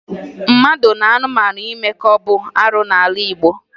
Mmadụ na anụmanụ imekọ bụ arụ n'ala Igbo